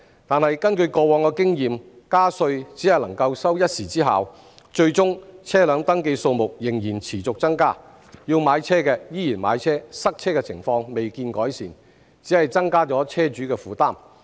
但是，根據過往的經臉，加稅只能收一時之效，最終車輛登記數目仍然持續增加，要買車的依然買車，塞車情況未見改善，只是增加車主的負擔。